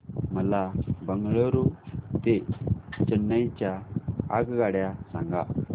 मला बंगळुरू ते चेन्नई च्या आगगाड्या सांगा